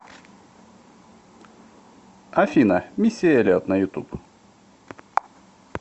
афина мисси эллиот на ютуб